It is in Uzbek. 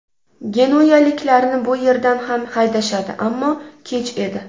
Genuyaliklarni bu yerdan ham haydashadi, ammo kech edi.